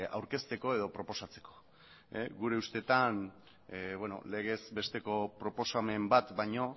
aurkezteko edo proposatzeko gure ustetan legez besteko proposamen bat baino